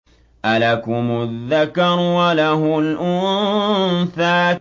أَلَكُمُ الذَّكَرُ وَلَهُ الْأُنثَىٰ